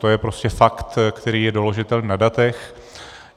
To je prostě fakt, který je doložitelný na datech.